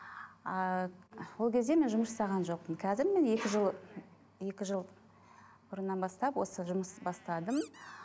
ыыы ол кезде мен жұмыс жасаған жоқпын қазір міне екі жыл екі жыл бұрыннан бастап осы жұмысты бастадым